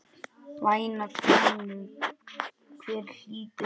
Væna konu, hver hlýtur hana?